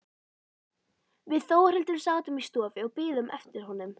Við Þórhildur sátum í stofu og biðum eftir honum.